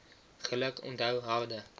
geluk onthou harde